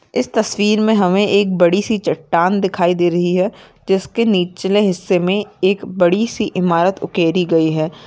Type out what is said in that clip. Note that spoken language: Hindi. इस तस्वीर मे हमें एक बड़ी सी चट्टान दिखाई दे रही है जिसके निचले हिस्से मे एक बड़ी सी इमारत उकेरी गयी है।